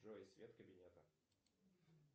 джой свет кабинета